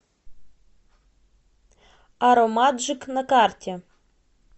аромаджик на карте